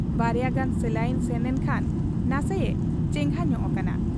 ᱵᱟᱨᱭᱟ ᱜᱟᱱ ᱥᱟᱞᱟᱭᱤᱱ ᱥᱮᱱᱮᱱ ᱠᱷᱟᱱ ᱱᱟᱥᱮᱭᱮ ᱪᱮᱸᱜᱷᱟ ᱧᱚᱜ ᱟᱠᱟᱱᱟ ᱾